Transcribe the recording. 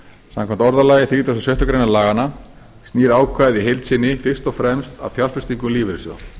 samkvæmt orðalagi þrítugasta og sjöttu grein laganna snýr ákvæðið í heild sinni fyrst og fremst að fjárfestingum lífeyrissjóða